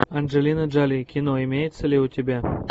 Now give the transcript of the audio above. анджелина джоли кино имеется ли у тебя